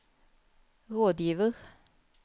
rådgiver